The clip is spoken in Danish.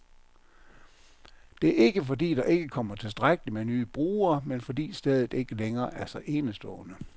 Det er ikke, fordi der ikke kommer tilstrækkeligt med nye brugere, men fordi stedet ikke længere er så enestående.